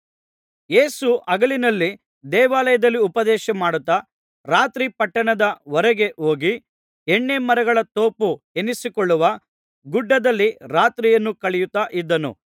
ಯೇಸು ಹಗಲಿನಲ್ಲಿ ದೇವಾಲಯದಲ್ಲಿ ಉಪದೇಶಮಾಡುತ್ತಾ ರಾತ್ರಿ ಪಟ್ಟಣದ ಹೊರಗೆ ಹೋಗಿ ಎಣ್ಣೆ ಮರಗಳ ತೋಪು ಎನಿಸಿಕೊಳ್ಳುವ ಗುಡ್ಡದಲ್ಲಿ ರಾತ್ರಿಯನ್ನು ಕಳೆಯುತ್ತಾ ಇದ್ದನು